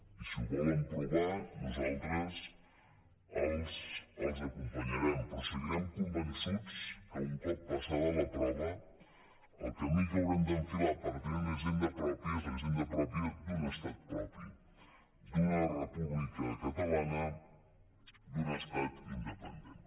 i si ho volen provar nosaltres els acompanyarem però seguirem convençuts que un cop passada la prova el camí que haurem d’enfilar per tenir una hisenda pròpia és la hisenda pròpia d’un estat propi d’una república catalana d’un estat independent